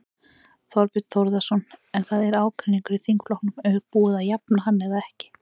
Þorbjörn Þórðarson: En það er ágreiningur í þingflokknum, er búið að jafna hann eða ekki?